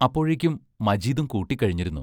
അപ്പോഴേക്കും മജീദും കൂട്ടിക്കഴിഞ്ഞിരുന്നു.